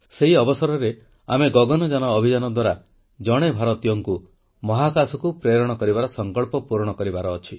ସେଇ ଅବସରରେ ଆମେ ଗଗନଯାନ ଅଭିଯାନ ଦ୍ୱାରା ଜଣେ ଭାରତୀୟକୁ ମହାକାଶକୁ ପ୍ରେରଣ କରିବାର ସଂକଳ୍ପ ପୂରଣ କରିବାର ଅଛି